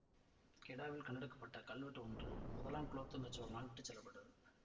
கெடாவில் கண்டெடுக்க பட்ட கல்வெட்டு ஒன்று முதலாம் குலோத்துங்கச் சோழனால் விட்டு செல்ல பட்டுள்ளது